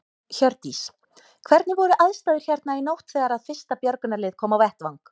Hjördís: Hvernig voru aðstæður hérna í nótt þegar að fyrsta björgunarlið kom á vettvang?